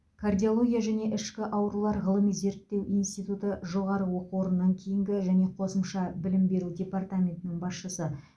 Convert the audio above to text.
кардиология және ішкі аурулар ғылыми зерттеу институты жоғары оқу орнынан кейінгі және қосымша білім беру департаментінің басшысы